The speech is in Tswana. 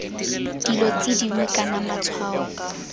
dilo tse dingwe kana matshwao